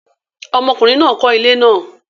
ọmọkùnrin náà kọ́ ilé náà